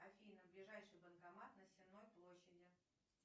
афина ближайший банкомат на сенной площади